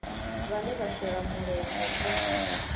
vhane vha shela mulenzhe kha